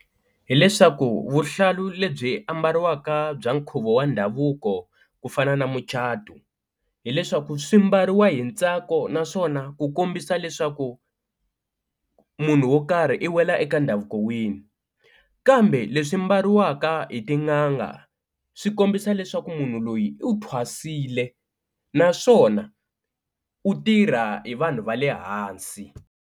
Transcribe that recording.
Hi leswaku vuhlalu lebyi ambariwaka bya nkhuvo wa ndhavuko ku fana na mucato, hileswaku swi mbariwa hi ntsako naswona ku kombisa leswaku munhu wo karhi i wela eka ndhavuko wini, kambe leswi mbaliwaka hi tin'anga swi kombisa leswaku munhu loyi u thwasile naswona u tirha hi vanhu va le hansi.